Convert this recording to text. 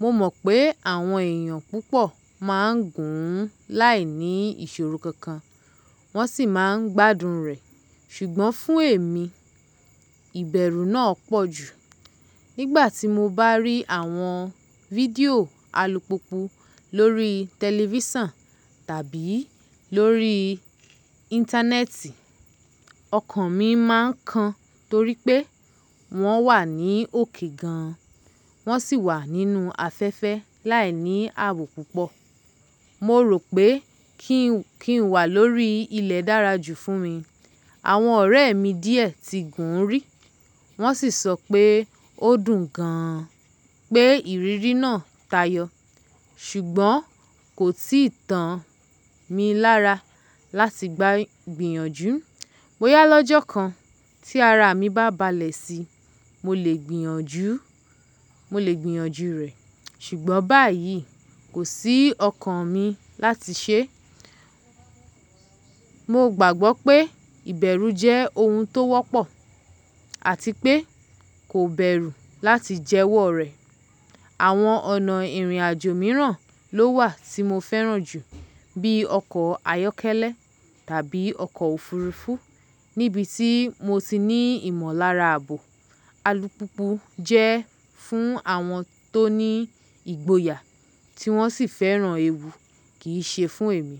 Mo mọ̀ pé àwọn èèyàn púpọ̀ máa ń gùn ún láìní ìṣòro kankan wọ́n sì máa ń gbádùn rẹ̀, ṣùgbọ́n fún èmi, ìbẹ̀rù náà pọ̀ jù. Nígbà tí mo bá rí àwọn fídíò alùpùpù lórí tẹlifísàn tàbí lórí íńtánẹ́ẹ̀tì, ọkàn mi máa ń kan torí pé wọ́n wà ní òkè gan, wọ́n sì wà nínú afẹ́fẹ́ láìní ààbò púpọ̀. Mo rò pé kí n wà lórí ilẹ̀ dára jù fún mi. Àwọn ọ̀rẹ́ mi díẹ̀ ti gùn ún rí, wọ́n sì sọ pé ó dùn gan pé ìrírí náà tayọ. Ṣùgbọ́n kò tíì tàn mí lára láti gba gbìyànjú. Bóyá lọ́jọ́ kan tí ara mi bá balẹ̀ sí i, mo lè gbìyànjú rẹ̀, ṣùgbọ́n báyìí, kò sí ọkàn mi láti sé. Mo gbàgbọ́ pé ìbẹ̀rù jẹ́ ohun tó wọ́pọ̀, àti pé kò bẹ̀rù láti jẹwọ́ rẹ̀. Àwọn ọ̀nà ìrìnàjò mìíràn ló wà tí mo fẹ́ràn jù, bíi ọkọ̀ ayọ́kẹ́lẹ́ tàbí ọkọ̀ òfurufú níbi tí mo ti ní ìmọ̀lára ààbò. Alùpùpù jẹ́ fún àwọn tó ní ìgboyà tí wọ́n sì fẹ́ràn ewu, kì í ṣe fún èmi.